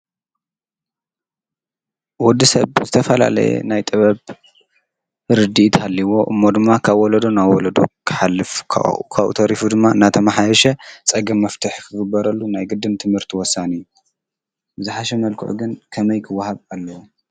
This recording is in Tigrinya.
ወዲ ሰብ ዝተፈላለየ ናይ ጥበብ ርድኢት ሃሊእዎ እሞ ድማ ካብ ወለዶ ናብ ወለዶ ክሓልፍ ካብኡ ተሪፉ ድማ እናተመሓየሸ ፀገም መፍትሒ ክግበረሉ ናይ ግድን ትምህርቲ ወሳኒ እዩ፡፡ ብዝሓሸ መልክዑ ግን ከመይ ክወሃብ ኣለዎ?